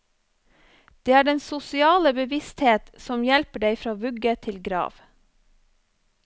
Det er den sosiale bevissthet som hjelper deg fra vugge til grav.